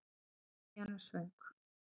Krían er svöng.